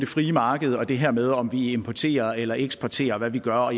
frie marked og det her med om vi importerer eller eksporterer og hvad vi gør og